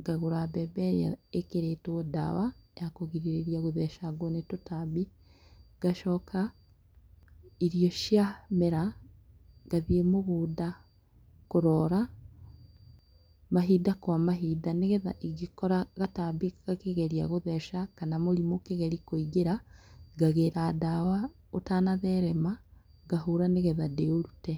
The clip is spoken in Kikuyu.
ngagũra mbembe ĩrĩa ĩkĩrĩtwo dawa yakũgirĩria gũthecangwo nĩtũtambi . Ngacoka irio ciamera ngathiĩ mũgũnda kũroora mahinda kw mahinda nĩgeetha ingĩkora gatambi gakĩgeria gũtheca kana mũrĩmũ ũkĩgeria kũingĩra, ngagĩra ndawa ũtanatherema ngahũra nĩgetha ndĩũrute.